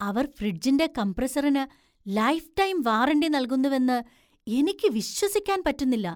അവർ ഫ്രിഡ്ജിന്‍റെ കംപ്രസറിനു lifetime warranty നല്കുന്നുവെന്ന് എനിക്ക് വിശ്വസിക്കാൻ പറ്റുന്നില്ല.